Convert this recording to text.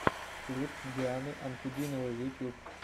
клип дианы анкудиновой ютьюб